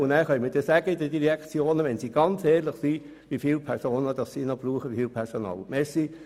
Danach können die Direktionen ehrlich sagen, wieviel Personal sie noch brauchen.